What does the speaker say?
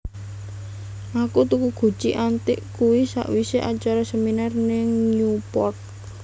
Aku tuku guci antik kuwi sakwise acara seminar ning Newport